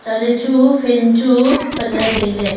lechu fan chu patle taile.